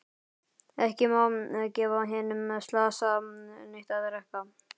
Ekki má gefa hinum slasaða neitt að drekka.